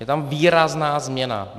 Je tam výrazná změna.